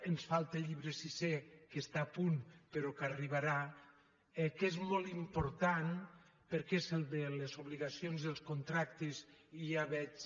ens falta el llibre sisè que està a punt però que arribarà que és molt important perquè és el de les obligacions i els contractes i ja veig